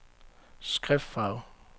skriftfarve